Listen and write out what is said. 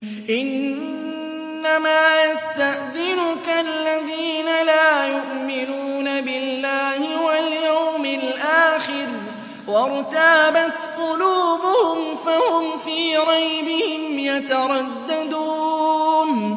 إِنَّمَا يَسْتَأْذِنُكَ الَّذِينَ لَا يُؤْمِنُونَ بِاللَّهِ وَالْيَوْمِ الْآخِرِ وَارْتَابَتْ قُلُوبُهُمْ فَهُمْ فِي رَيْبِهِمْ يَتَرَدَّدُونَ